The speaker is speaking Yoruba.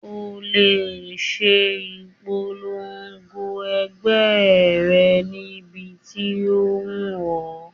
O lè ṣe ìpolongo ẹgbẹ́ rẹ níbi tí ó wù ọ́